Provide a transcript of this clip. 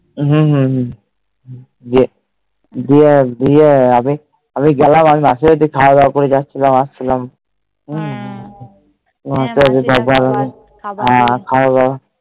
হম হম হম যে গিয়ে গিয়ে আমি আমি গেলাম খাওয়া দাও করে যাচ্ছিলাম আসছিলাম হম তারপরে খাওয়া দাও